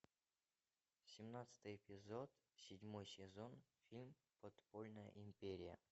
семнадцатый эпизод седьмой сезон фильм подпольная империя